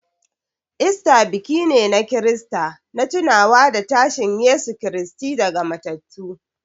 Easter biki ne na Kirista na tunawa da tashin Yesu Kiristi daga matattu.